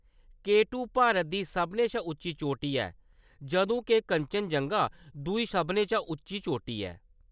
के two Bharat दी सभनें शा उच्ची चोटी ऐ, जदूं के कंचनजंगा दूई सभनें शा उच्ची चोटी ऐ।